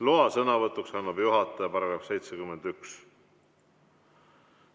Loa sõnavõtuks annab juhataja, § 71.